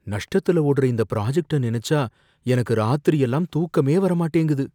நஷ்டத்துல ஓடுற இந்த பிராஜக்ட்ட நனைச்சா எனக்கு ராத்திரியெல்லாம் தூக்கமே வர மாட்டேங்குது.